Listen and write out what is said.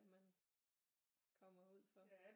Man kommer ud for